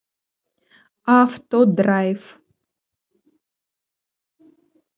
автодрайв